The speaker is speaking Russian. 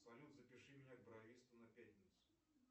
салют запиши меня к бровисту на пятницу